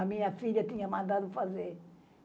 A minha filha tinha mandado fazer.